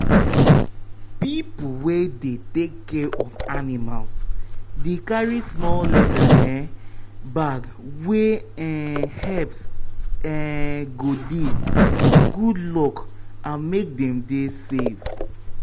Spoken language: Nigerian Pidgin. people wey dey take care of animals dey carry small leather um bag wey um herbs um go dey for good luck and make dem dey safe.